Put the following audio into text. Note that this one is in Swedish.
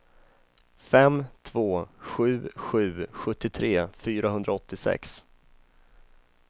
fem två sju sju sjuttiotre fyrahundraåttiosex